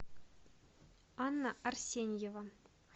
анна арсеньева